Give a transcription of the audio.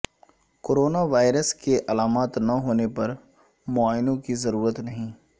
corona virus کے علامات نہ ہونے پر معائنوں کی ضرورت نہیں